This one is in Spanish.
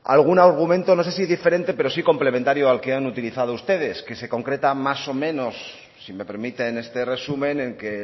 algún argumento no sé si diferente pero sí complementario al que han utilizado ustedes que se concretan más o menos si me permiten este resumen en que